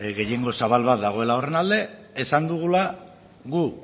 gehiengo zabal bat dagoela horren alde esan dugula gu